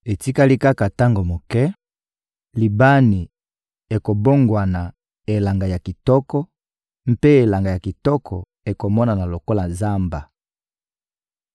Etikali kaka tango moke, Libani ekobongwana elanga ya kitoko, mpe elanga ya kitoko ekomonana lokola zamba.